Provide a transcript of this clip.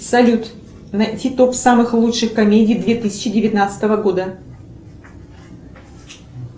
салют найти топ самых лучших комедий две тысячи девятнадцатого года